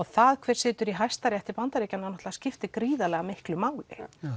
það hver situr í Hæstarétti Bandaríkjanna skiptir miklu máli